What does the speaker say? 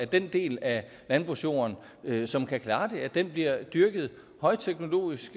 at den del af landbrugsjorden som kan klare det bliver dyrket højteknologisk